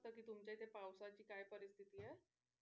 तुमच्या इथे पावसाची काय परिस्थिती आहे?